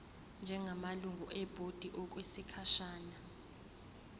njengamalungu ebhodi okwesikhashana